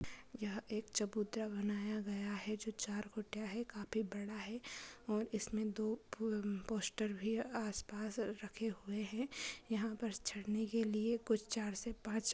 यहां एक चबूतरा बनाया गया है चार कुटिया है काफी बड़ा है और दो पोस्ट आसपास रखे हुए हैं और यहां चढ़ने के लिए चार से पांच--